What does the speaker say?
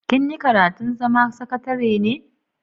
Kin yi karatun zama sakatare ne?